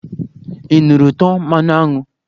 Ị nụrụ ụtọ mmanụ aṅụ?